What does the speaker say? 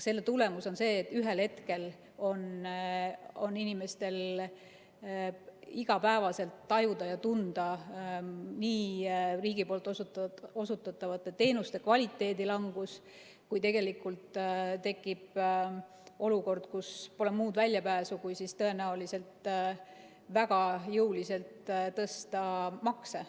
Selle tulemus on see, et ühel hetkel on inimestele igapäevaselt tajutav ja tuntav nii riigi osutatavate teenuste kvaliteedi langus kui tegelikult tekib ka olukord, kust pole muud väljapääsu kui tõenäoliselt väga jõuliselt tõsta makse.